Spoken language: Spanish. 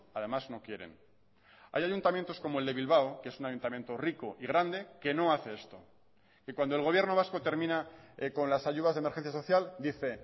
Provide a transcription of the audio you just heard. además no quieren hay ayuntamientos como el de bilbao que es un ayuntamiento rico y grande que no hace esto y cuando el gobierno vasco termina con las ayudas de emergencia social dice